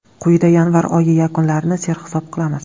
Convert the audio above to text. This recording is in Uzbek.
Quyida yanvar oyi yakunlarini sarhisob qilamiz.